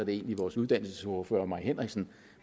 egentlig vores uddannelsesordfører fru mai henriksen